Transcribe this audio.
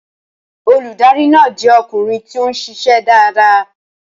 Olùdarí náà jẹ́ ọkùnrin tí ó ń ṣiṣẹ́ dáadáa.